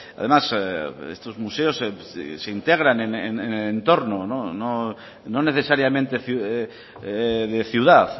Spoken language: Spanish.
además estos museos se integran en el entorno no necesariamente de ciudad